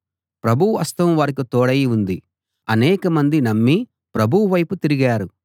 ప్రభువు హస్తం వారికి తోడై ఉంది అనేక మంది నమ్మి ప్రభువు వైపు తిరిగారు